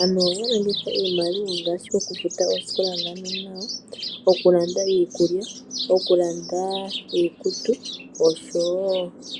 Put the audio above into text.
Aantu ohaya longitha iimaliwa ngaashi okufuta oosikola dhaanona yawo , okulanda iikulya, okulanda iikutu osho tuu.